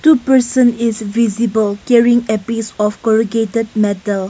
Two person is visible carrying a piece of corrugated metal.